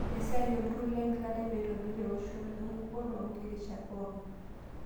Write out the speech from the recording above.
Esiai olturrur lengelare pee eitobirr eoshoto enkukuo too nkirrishat pookin